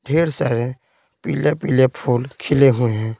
ढेर सारे पीले पीले फूल खिले हुए है।